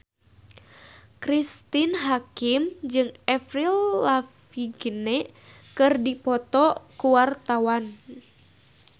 Cristine Hakim jeung Avril Lavigne keur dipoto ku wartawan